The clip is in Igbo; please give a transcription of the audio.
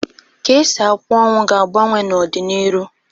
Ka esi akwa ọnwụ ga-agbanwe n'ọdị n'iru.